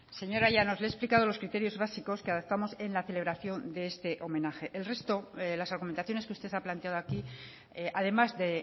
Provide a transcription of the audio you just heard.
señora llanos le he explicado los criterios básicos que adaptamos en la celebración de este homenaje el resto las argumentaciones que usted ha planteado aquí además de